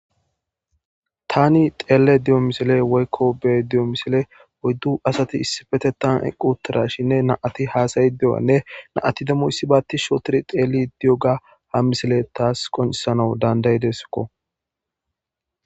tani xeele diyo misile woykko bee diyo misile oyddu asati issifete tan eqqutirashinne naati haasayi de7anne naati demmoyssi baatti shotir xeeli di7oga ha misile taas qoncisanau dandaydeskko